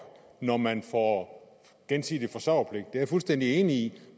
når man får gensidig forsørgerpligt jeg fuldstændig enig i